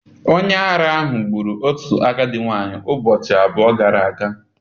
Onye ara ahụ gburu otu agadi nwanyị ụbọchị abụọ gara aga.